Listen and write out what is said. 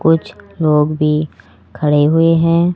कुछ लोग भी खड़े हुए हैं।